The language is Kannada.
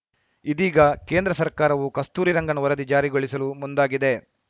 ಇದೀಗ ಕೇಂದ್ರ ಸರ್ಕಾರವೂ ಕಸ್ತೂರಿ ರಂಗನ್‌ ವರದಿ ಜಾರಿಗೊಳಿಸಲು ಮುಂದಾಗಿದೆ